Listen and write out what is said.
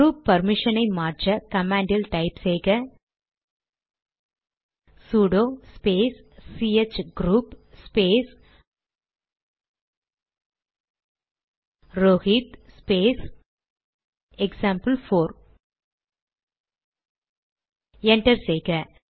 group permission ஐ மாற்ற command type செய்க sudo space C H group space Rohit space example four enter செய்க